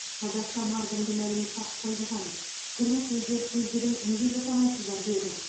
қазақша мардымды мәлімет таппай жатамыз кірме сөздер сөздігін неге жасамайсыздар деді